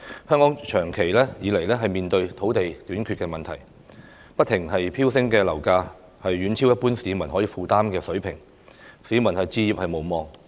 香港長期以來面對土地短缺問題，不停飆升的樓價遠超一般市民可以負擔的水平，市民置業無望。